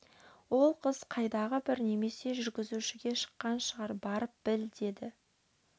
ол қыз қайдағы бір немесе жүргізушіге шыққан шығар барып біл деді